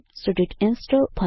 should it install